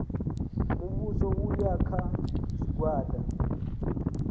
muvhuso u ya kha zwigwada